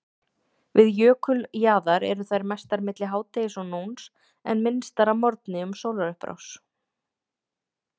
Við jökuljaðar eru þær mestar milli hádegis og nóns en minnstar að morgni um sólarupprás.